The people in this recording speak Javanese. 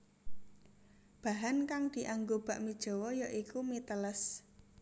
Bahan kang dianggo bakmi Jawa ya iku mi teles